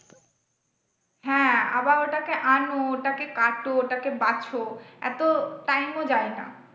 হ্যাঁ আবার ওটাকে আনো ওটাকে কাটো ওটাকে বাছ এত time ও যায়না।